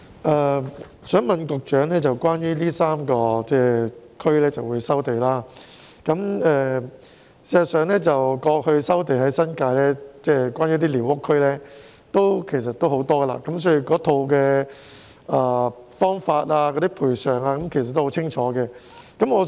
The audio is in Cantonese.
我想問局長關於將會在這3個地區收地的事宜，事實上，過去在新界寮屋區也有很多收地個案，所以有關的方法和賠償等都很清晰。